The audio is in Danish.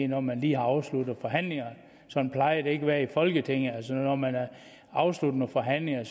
når man lige har afsluttet forhandlingerne sådan plejer det ikke at være i folketinget altså når man har afsluttet nogle forhandlinger